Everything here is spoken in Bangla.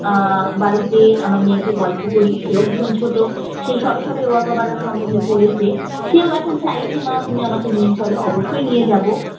আহ বাড়িতে আমার মেয়েকে গল্প করি সেও ভীষণ ছোট সে সবে সবে ওয়াঘা border সম্বন্ধে পড়েছে সেও এখন চাইছে মা তুমি আমাকে নিয়ে চলো অবশ্যই নিয়ে যাব